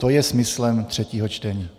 To je smyslem třetího čtení.